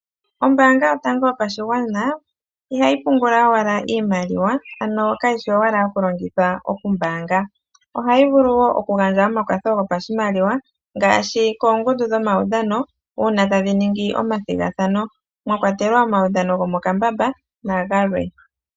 Ombaanga yotango yopashigwana ihayi pungula owala iimaliwa ano kayishi owala yokulongithwa okumbaanga, ohayi vulu wo okugandja omakwatho gopashimaliwa ngaashi koongundu dhomawudhano uuna tadhiningi omathigathano mwakwatelwa omawudhano gomokambamba nagalwe.